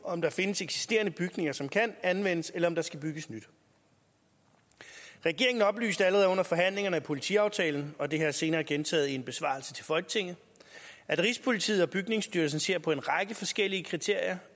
om der findes eksisterende bygninger som kan anvendes eller om der skal bygges nyt regeringen oplyste allerede under forhandlingerne om politiaftalen og det har jeg senere gentaget i en besvarelse til folketinget at rigspolitiet og bygningsstyrelsen ser på en række forskellige kriterier